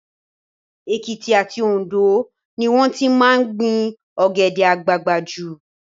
Èkìtì àti Òndó ni wọ́n ti máa ń gbin Ọ̀gẹ̀dẹ̀ àgbagbà jù